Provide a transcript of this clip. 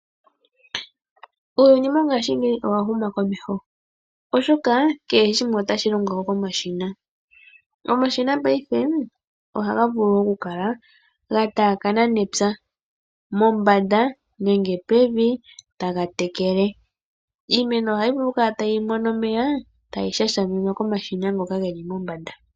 Uuyuni mongashingeyi owa huma komeho oshoka kehe shimwe otashi longele komashina. Omashina paife ohaga vulu oku kala ga taakana nepya mombanda nenge pevi taga tekele. Iimeno ohayi vulu oku kala tayi mono omeya tayi shashiminwa komashina ngoka geli pombanda.